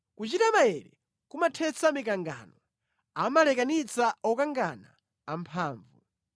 Kuchita maere kumathetsa mikangano; amalekanitsa okangana amphamvu.